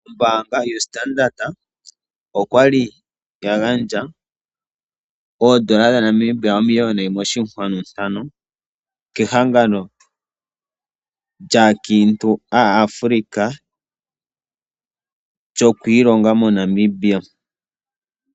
Ombaanga yoStandard okwa li ya gandja oondola dhaNamibia omiliyona yimwe oshinkwanu ntano kehangano lyaakiintu aAfrika lyoku ilonga MoNamibia.